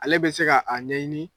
Ale bɛ se ka a ɲɛɲini